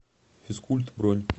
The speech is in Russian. физкульт бронь